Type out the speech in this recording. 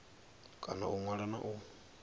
kona u ṅwala na u